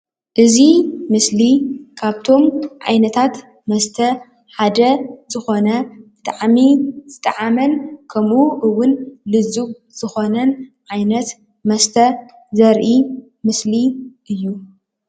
እዚ ምስሊ ካፍቶም ዓይነታት መስተ ሓደ ዝኾነ ብጣዕሚ ዝጣዓመን ከምኡ እውን ሉዚብ ዝኾነን ዓይነት መስተ ዘርኢ ምስሊ እዩ።